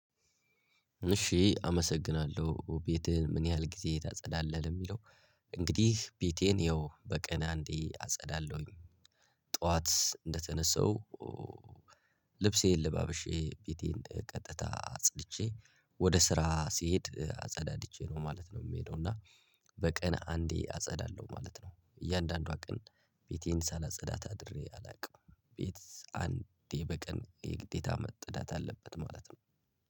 እሺ አመሰግናለሁ ቤቴህን ምን ያህል ጊዜ ታጸዳለህ ለሚለው? እንግዲህ ቤቴን ያው በቀን አንዴ አጸዳለሁኝ ጠዋት እንደተነሳው። ልብሴን ለባብሼ ቤቴን ቀጥታ አጽድቼ ወደ ስራ ስሄድ አጸዳድቼ ነው ማለት ነው የምሄደው። እና በቀን አንዴ አጸዳለሁ ማለት ነው። እያንዳንዷ ቀን ቤቴን ሳላጸዳ አድሬ አላውቅም። ቤት አንዴ በቀን የግዴታ መዕዳት አለበት ማለት ነው።